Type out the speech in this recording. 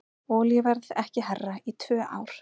Olíuverð ekki hærra í tvö ár